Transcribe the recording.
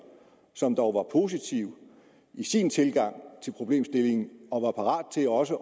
som dog var positiv i sin tilgang til problemstillingen og var parat til også